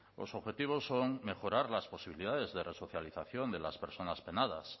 los objetivos son mejorar las posibilidades de resocialización de las personas penadas